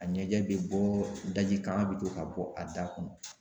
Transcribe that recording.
A ɲɛjɛ bɛ bɔ daji kan bɛ to ka bɔ a da kɔnɔ.